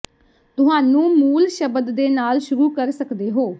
ਤੁਹਾਨੂੰ ਮੂਲ ਸ਼ਬਦ ਦੇ ਨਾਲ ਸ਼ੁਰੂ ਕਰ ਸਕਦੇ ਹੋ